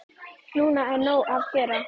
Núna er nóg að gera.